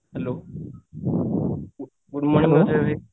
hello good morning ଭାଇ